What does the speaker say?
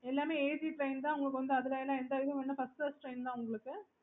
okay